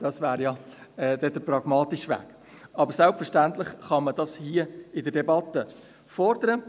» Das wäre dann der pragmatische Weg, aber selbstverständlich kann man dies hier in der Debatte fordern.